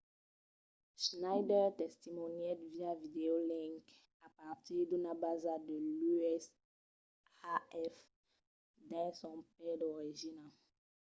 schneider testimonièt via videolink a partir d’una basa de l’usaf dins son país d'origina